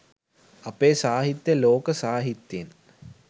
අපේ සාහිත්‍යය ලෝක සාහිත්‍යයෙන්